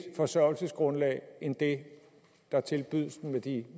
forsørgelsesgrundlag end det der tilbydes dem med de